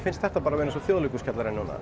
finnst þetta bara vera eins og